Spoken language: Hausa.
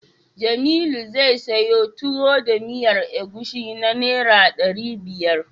Jamilu zai siyo Tuwo da miyar agushi na Naira ɗari biyar.